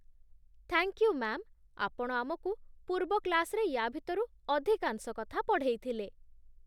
Thank you ma'am, ଆପଣ ଆମକୁ ପୂର୍ବ କ୍ଲାସ୍‌ରେ ୟା'ଭିତରୁ ଅଧିକାଂଶ କଥା ପଢ଼େଇଥିଲେ ।